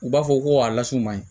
U b'a fɔ ko a lasumaɲɔn ye